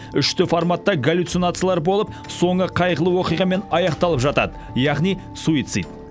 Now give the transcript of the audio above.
үш д форматта галлюцинациялар болып соңы қайғылы оқиғамен аяқталып жатады яғни суицид